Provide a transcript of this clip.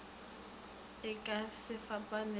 e ka se fapane le